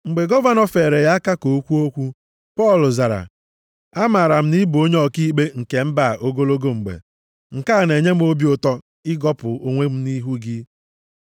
Mgbe gọvanọ feere ya aka ka o kwuo okwu, Pọl zara, “amaara m na ị bụ onye ọkaikpe nke mba a ogologo mgbe. Nke a na-enye m obi ụtọ ịgọpụ onwe m nʼihu gị.